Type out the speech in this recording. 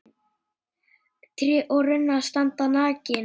Tré og runnar standa nakin.